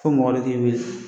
Fo mɔgɔ de k'i wele